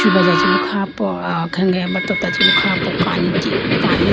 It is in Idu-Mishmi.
subra che bi kha po aw khenge aboto tota chibi kha po kani ti kani.